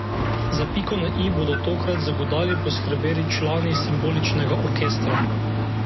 Za piko na i bodo tokrat z godali poskrbeli člani Simboličnega orkestra.